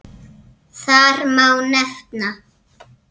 Þar má nefna